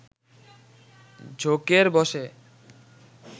ঝোঁকের বসে